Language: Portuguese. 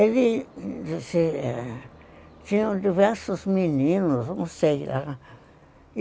Eles tinham diversos meninos, não sei